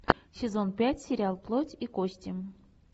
сезон пять сериал плоть и кости